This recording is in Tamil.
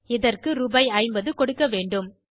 இதற்கு ரூபாய் 50 கொடுக்க வேண்டும்